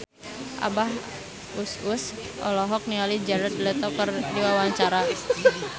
Abah Us Us olohok ningali Jared Leto keur diwawancara